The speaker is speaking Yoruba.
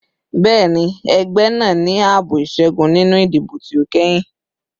Bẹẹni, ẹgbẹ naa ni aabo iṣẹgun ninu idibo ti o kẹhin